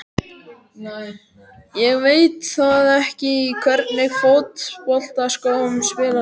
Ég veit það ekki Í hvernig fótboltaskóm spilar þú?